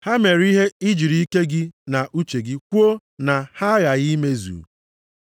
ha mere ihe i jiri ike gị na uche gị kwuo na ha aghaghị imezu.